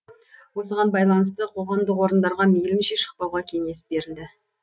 осыған байланысты қоғамдық орындарға мейлінше шықпауға кеңес берілді